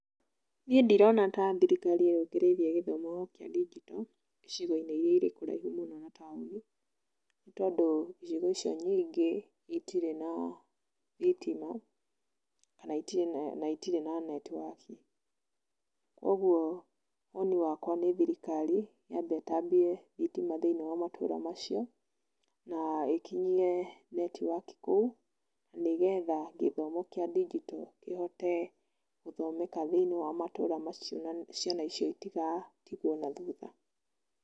Niĩ ndirona ta thirikari yũkĩrĩirie gĩthomo kĩa ndinjito, icigo-inĩ iria irĩ kũraihu mũno na taũni, nĩtondũ icigo icio nyingĩ itirĩ na thitima na itirĩ na netiwaki. Koguo woni wakwa nĩ thirikari yambe ĩtambie thitima thĩinĩ wa matũra macio, na ĩkinyie netiwaki kũu nĩgetha gĩthomo kĩa ndinjito kĩhote gũthomeka thĩinĩ wa matũra macio na ciana icio itigatigwo nathutha.